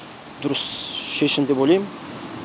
дұрыс шешім деп ойлаймын